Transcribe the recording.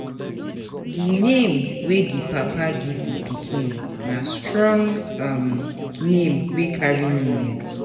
Di name wey di papa give di pikin na strong um name wey carry meaning.